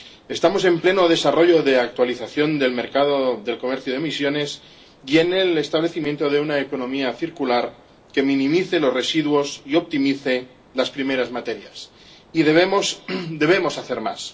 Estamos en pleno desarrollo de actualización del mercado del comercio de emisiones y en el establecimiento de una economía circular que minimice los residuos y optimice las primeras materias, y debemos hacer más.